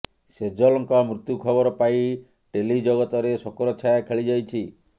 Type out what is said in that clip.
ସେଜଲ୍ଙ୍କ ମୃତ୍ୟୁ ଖବର ପାଇ ଟେଲି ଜଗତରେ ଶୋକର ଛାୟା ଖେଳିଯାଇଛି